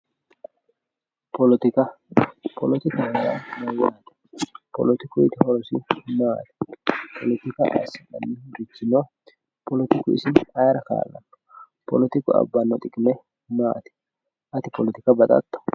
politika, politikaho yaa mayyaate politikuyiiti horosi maati politika ayi hasiranno politiku isi ayeera kaa'lanno politiku abbanno xiqime maati ati politika baxatto.